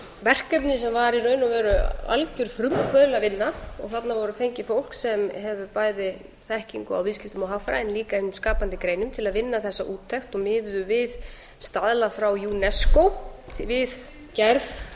verkefni sem var í raun og veru algjör frumkvöðlavinna og þarna var fengið fólk sem hefur bæði þekkingu á viðskiptum og hagfræði en líka hinum skapandi greinum til að vinna þessa úttekt og miðuðu við staðla frá unesco við gerð